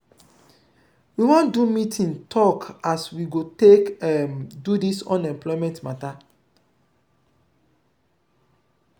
we wan do meeting tok as we go take um do dis unemployment mata.